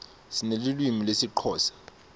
sinelulwimi lesixhosa